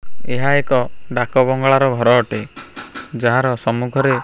ଏହା ଏକ ଡାକବଙ୍ଗଳା ର ଘର ଅଟେ ଯାହାର ସମ୍ମୂଖରେ --